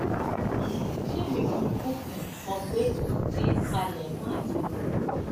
um ṣé èmi kò kúkú um mọ pé ẹ ti ń palẹmọ àti lọ